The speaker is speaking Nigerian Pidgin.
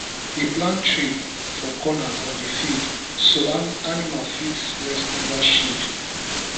we plant tree for corner of the field so animal fit rest under shade